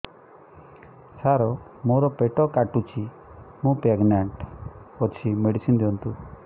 ସାର ମୋର ପେଟ କାଟୁଚି ମୁ ପ୍ରେଗନାଂଟ ଅଛି ମେଡିସିନ ଦିଅନ୍ତୁ